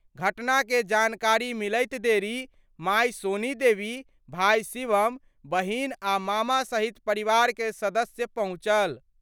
घटना के जानकारी मिलैत देरी माए सोनी देवी, भाई शिवम, बहिन आ मामा सहित परिवार के सदस्य पहुंचल।